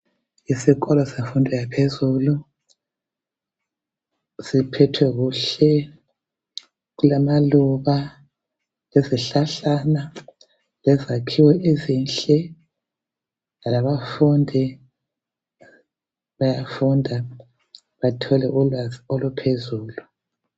Isikolo semfundo yaphezulu siphethwe kuhle silamaluba lezihlahlakazana lezakhiwo ezinhle labafundi bayafunda bathole ulwazi oluphezulu